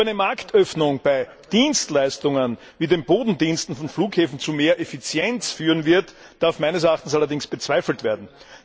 Ob eine Marktöffnung bei Dienstleistungen wie den Bodendiensten von Flughäfen zu mehr Effizienz führen wird, darf meines Erachtens allerdings bezweifelt werden.